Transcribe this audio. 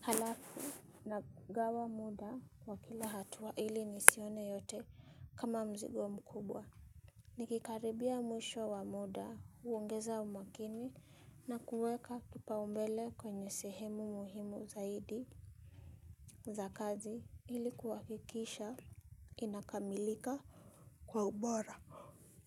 Halafu. Nagawa muda wa kila hatua ili nisione yote kama mzigo mkubwa. Nikikaribia mwisho wa muda, huongeza umakini, na kuweka kipaumbele kwenye sehemu muhimu zaidi za kazi ili kuhakikisha inakamilika kwa ubora.